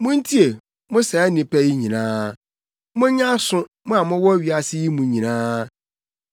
Muntie, mo saa nnipa yi nyinaa; monyɛ aso, mo a mowɔ wiase yi mu nyinaa,